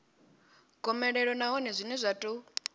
gomelelo nahone zwine zwa ḓo